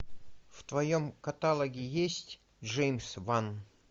в твоем каталоге есть джеймс ван